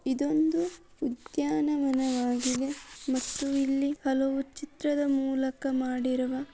ಇದೊಂದು ಉದ್ಯಾನವನವಾಗಿದೆ ಮತ್ತು ಇಲ್ಲಿ ಹಲವು ಚಿತ್ರದ ಮೂಲಕ ಮಾಡಿರುವ--